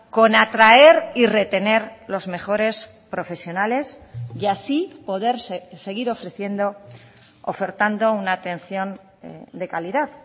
con atraer y retener los mejores profesionales y así poderse seguir ofreciendo ofertando una atención de calidad